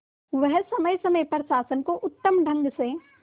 वह समय समय पर शासन को उत्तम ढंग से